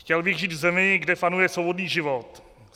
Chtěl bych žít v zemi, kde panuje svobodný život.